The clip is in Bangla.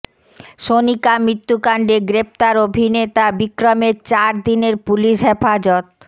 সনিকা মৃত্যুকাণ্ডে গ্রেফতার অভিনেতা বিক্রমের চার দিনের পুলিশ হেফাজত